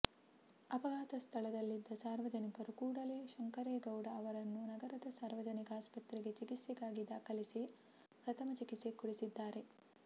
ಅಪಘಾತ ಸ್ಥಳದಲ್ಲಿದ್ದ ಸಾರ್ವಜನಿಕರು ಕೂಡಲೇ ಶಂಕರೇಗೌಡ ಅವರನ್ನು ನಗರದ ಸಾರ್ವಜನಿಕ ಆಸ್ಪತ್ರೆಗೆ ಚಿಕಿತ್ಸೆಗಾಗಿ ದಾಖಲಿಸಿ ಪ್ರಥಮ ಚಿಕಿತ್ಸೆ ಕೊಡಿಸಿದ್ದಾರೆ